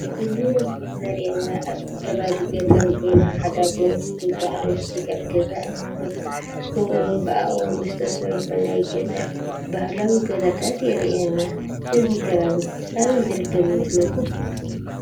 እዚ ምስሊ ዘርእየና ኣብ ከባቢ ገጠር ኮይኑ ሓደ ኣቦ ምስ ክልተ ኣንስቲ ካብ ገዛ እናወፁ ከምኡ እዉን ብኣእዋም ዝተሰርሑ ናይ ገጠር ባህላዊ ገዛታት የርእየና። እዚ ከባቢ ኣበይ ዝርከብ ይመስለኩም?